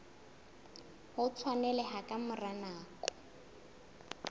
o tshwaneleha ka mora nako